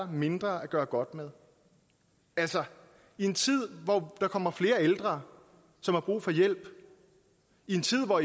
mindre at gøre godt med altså i en tid hvor der kommer flere ældre som har brug for hjælp i en tid hvor